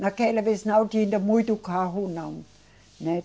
Naquela vez não tinha muito carro, não, né.